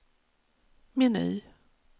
meny